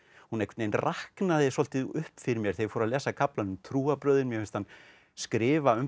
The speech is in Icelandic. hún einhvern veginn raknaði svolítið upp fyrir mér þegar ég fór að lesa kaflann um trúarbrögðin mér finnst hann skrifa